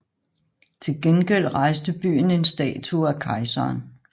Til gengæld rejste byen en statue af kejseren